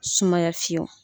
Sumaya